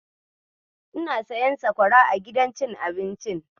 Ina siyan sakwara a gidan cin abincin.